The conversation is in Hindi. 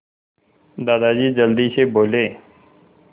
दादाजी जल्दी से बोले